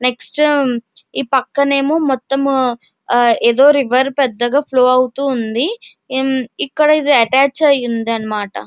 Next ఈ పక్కన ఎమో మొత్తము అ ఎదో రివర్ పెదగా ఫ్లో అవుతూ ఉంది ఇక్కడ ఇది అటాచ్ అయ్యి ఉందన్నమాట.